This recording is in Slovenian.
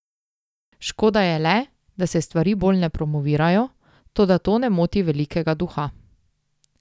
Škoda je le, da se stvari bolj ne promovirajo, toda to ne moti velikega duha.